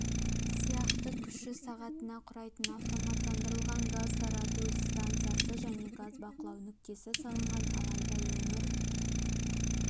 сияқты күші сағатына құрайтын автоматтандырылған газ тарату станциясы және газ бақылау нүктесі салынған алайда өңір